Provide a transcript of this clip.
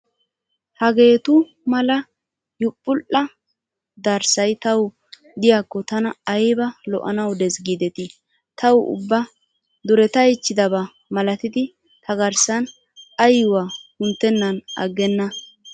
Hageetu mala yupudhdha darssayi tawu diyaakkoo tana ayiba lo''anawu des giideti. tawu ubba duretayichchidaba malatidi ta garssan ayyuwaa kunttennan aggenna.